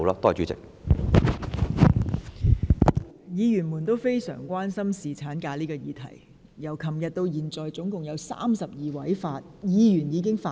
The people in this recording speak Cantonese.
各位議員非常關心侍產假這項議題，從昨天至今已有32位議員發言。